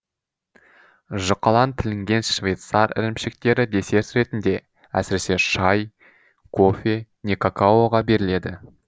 жұқалаң тілінген швейцар ірімшіктері десерт ретінде әсіресе шай кофе не какаоға беріледі